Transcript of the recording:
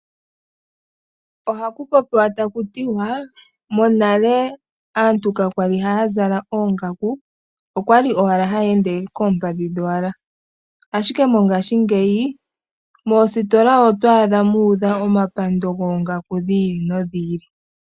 Ohaku popiwa taku tiwa: monale aantu ka kwali haya zala oongaku, okwa li owala haya ende koompadhi dhowala. Ashike mongaashingeyi, moositola oto adha muudha omapando goongaku dhi ili nodhi ili.